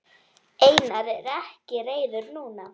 Einar er ekki reiður núna.